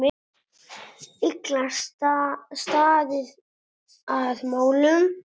Illa staðið að málum.